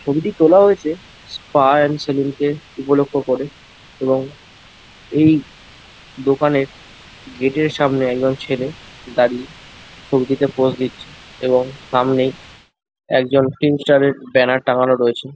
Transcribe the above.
ছবিটি তোলা হয়েছে স্পা এন্ড সেলুন কে উপলক্ষ করে এবং এই দোকানের গেট -এর সামনে একজন ছেলে দাঁড়িয়ে ছবিটিতে পোজ দিচ্ছে। এবং সামনেই একজন ফিল্ম ষ্টার এর ব্যানার টাঙানো রয়েছে।